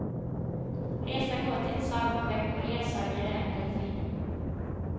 Resan går till ett sagoskepp och ledsagare är en delfin.